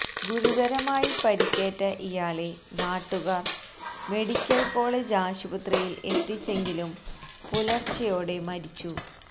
ഗുരുതരമായി പരുക്കേറ്റ ഇയാളെ നാട്ടുകാര് മെഡിക്കല് കോളജ് ആശുപത്രിയില് എത്തിച്ചെങ്കിലും പുലര്ച്ചെയോടെ മരിച്ചു